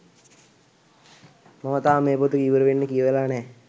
මම තාම මේ පොත ඉවරවෙන්න කියවලා නෑ.